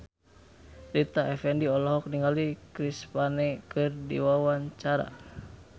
Rita Effendy olohok ningali Chris Pane keur diwawancara